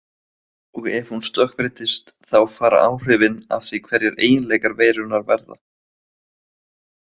Og ef hún stökkbreytist þá fara áhrifin af því hverjir eiginleikar veirunnar verða.